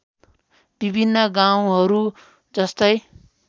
विभिन्न गाउँहरू जस्तै